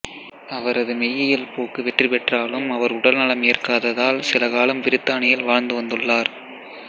அவரது மெய்யியல் போக்கு வெற்றிபெற்றாலும் அவர் உடல்நலம் ஏற்காததால் சிலகாலம் பிரித்தானியில் வாழ்ந்து வந்துள்ளார்ர்